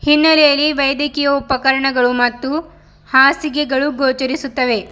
ಹಿನ್ನಲೆಯಲ್ಲಿ ವೈದ್ಯಕೀಯ ಉಪಕರಣಗಳು ಮತ್ತು ಹಾಸಿಗೆಗಳು ಗೋಚರಿಸುತ್ತವೆ.